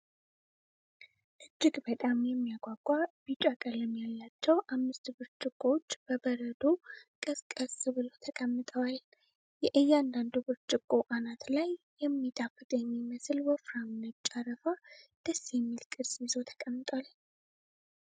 እጅግ በጣም የሚያጓጓ ቢጫ ቀለም ያላቸው አምስት ብርጭቆዎች በበረዶ ቀዝቀዝ ብለው ተቀምጠዋል። የእያንዳንዱ ብርጭቆ አናት ላይ የሚጣፍጥ የሚመስል ወፍራም ነጭ አረፋ ደስ የሚል ቅርፅ ይዞ ተቀምጧል።